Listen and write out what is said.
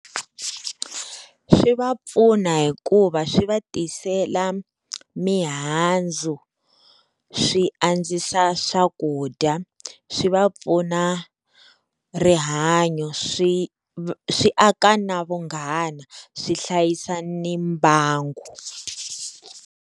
Swi va pfuna hikuva swi va tisela mihandzu swi andzisa swakudya swi va pfuna rihanyo swi swi aka na vunghana swi hlayisa ni mbangu.